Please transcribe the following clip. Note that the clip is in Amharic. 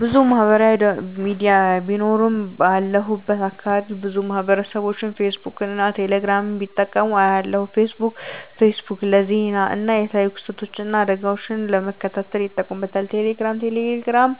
**ብዙ ማህበራዊ ሚዲያ ቢኖሩም፦ ባለሁበት አካባቢ ብዙ ማህበረሰብቦች ፌስቡክን እና ቴሌ ግራምን ሲጠቀሙ አያለሁ፤ * ፌስቡክ: ፌስቡክ ለዜና እና የተለያዩ ክስተቶችን እና አደጋወችን ለመከታተል ይጠቀሙበታል። * ቴሌግራም: ቴሌግራም